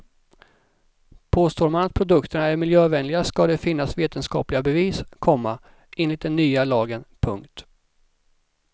Påstår man att produkterna är miljövänliga ska det finnas vetenskapliga bevis, komma enligt den nya lagen. punkt